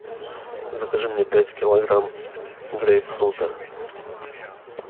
закажи мне пять килограмм грейпфрута